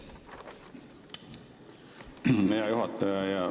Hea juhataja!